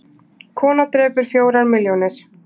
Kona drepur fjórar milljónir